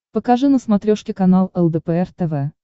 покажи на смотрешке канал лдпр тв